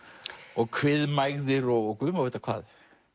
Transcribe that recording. og kviðmægðir og Guð má vita hvað